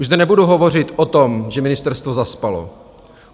Už zde nebudu hovořit o tom, že ministerstvo zaspalo.